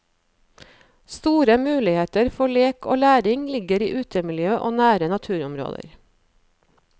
Store muligheter for lek og læring ligger i utemiljø og nære naturområder.